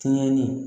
Kɛɲɛli